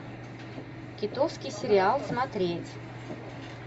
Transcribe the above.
китовский сериал смотреть